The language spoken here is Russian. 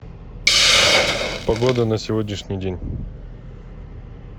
погода на сегодняшний день